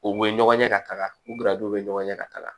U bɛ ɲɔgɔn ye ka taga u bɛ ɲɔgɔn ɲɛ ka taga